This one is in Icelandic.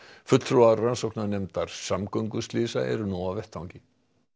fulltrúar rannsóknarnefndar samgönguslysa eru nú á vettvangi